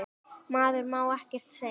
Maður má ekkert segja.